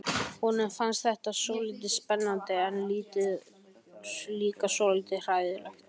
Honum fannst þetta svolítið spennandi en líka svolítið hræðilegt.